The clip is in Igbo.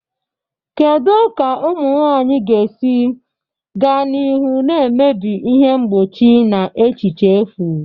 Kedu ka ụmụ nwanyị ga-esi gaa n'ihu na-emebi ihe mgbochi na echiche efu?